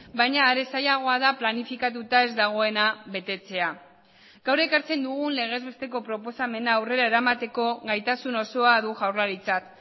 baina are zailagoa da planifikatuta ez dagoena betetzea gaur ekartzen dugun legez besteko proposamena aurrera eramateko gaitasun osoa du jaurlaritzak